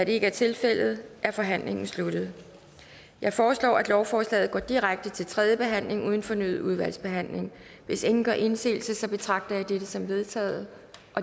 det ikke er tilfældet er forhandlingen sluttet jeg foreslår at lovforslaget går direkte til tredje behandling uden fornyet udvalgsbehandling hvis ingen gør indsigelse betragter jeg dette som vedtaget